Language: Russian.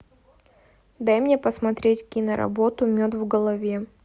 дай мне посмотреть киноработу мед в голове